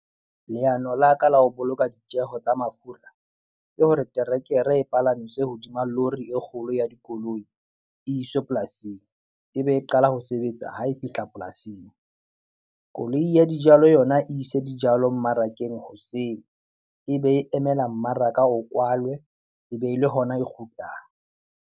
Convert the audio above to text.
Leano la ka la ho boloka ditjeho tsa mafura ke hore terekere e palamiswe hodima lori e kgolo ya dikoloi e iswe polasing ebe e qala ho sebetsa hae e fihla polasing. Koloi ya dijalo yona e ise dijalo mmarakeng hoseng e be e emela mmaraka o kwalwe e be e le hona e kgutlang.